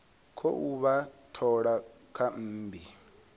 khou vha thola kha mmbi